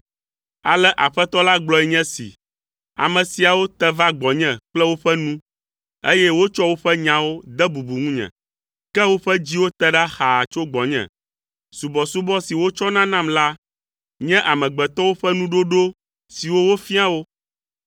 Ale Aƒetɔ la gblɔ nye esi, “Ame siawo te va gbɔnye kple woƒe nu, eye wotsɔ woƒe nyawo de bubu ŋunye, ke woƒe dziwo te ɖa xaa tso gbɔnye. Subɔsubɔ si wotsɔna nam la nye amegbetɔwo ƒe nuɖoɖo siwo wofia wo,